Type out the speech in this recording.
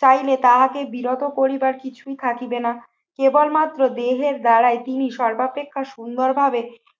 চাইলে তাহাকে বিরত করিবার কিছুই থাকিবে না। কেবলমাত্র দেহের দ্বারাই তিনি সর্বাপেক্ষা সুন্দরভাবে